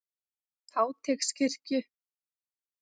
Háteigskirkju